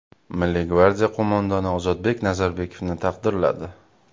Milliy gvardiya qo‘mondoni Ozodbek Nazarbekovni taqdirladi.